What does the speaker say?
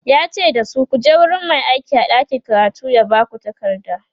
yace dasu"kuje wurin Mai aiki a ɗakin karatu ya Baku takarda!"